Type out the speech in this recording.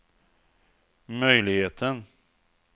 möjligheten